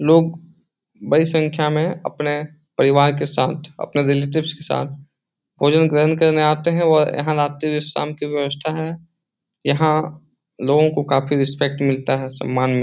लोग बड़ी संख्या मे अपने परिवार के साथ अपने रिलेटिव्स के साथ भोजन ग्रहण करने आते है और यहाँ रात्रि-शाम की व्यवस्था है यहाँ लोगो को काफी रिसपेक्ट मिलता है सम्मान --